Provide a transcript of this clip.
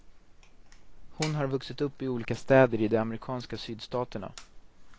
Hon har vuxit upp i olika städer i de amerikanska sydstaterna.